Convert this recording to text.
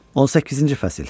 18-ci fəsil.